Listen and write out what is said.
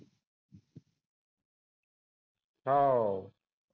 हो